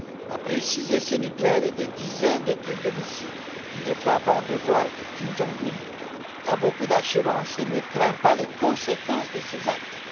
Après six essais nucléaires et des dizaines de tirs de missiles, il est frappant de voir que Kim Jong un a beaucoup d'assurance et ne craint pas les conséquences de ses actes.